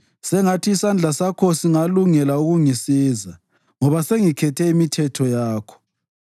Sengathi isandla sakho singalungela ukungisiza, ngoba sengikhethe imithetho yakho.